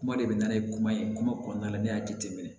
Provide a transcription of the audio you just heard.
Kuma de bɛ na ni kuma ye kuma kɔnɔna la ne y'a jate minɛ